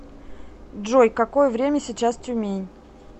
джой какое время сейчас тюмень